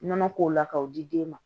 Nɔnɔ k'o la k'o di den ma